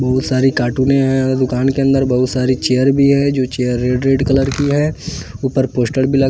बहोत सारी कार्टूने हैं दुकान के अंदर बहोत सारी चेयर भी है जो चेयर रेड रेड कलर की है ऊपर पोस्टर भी --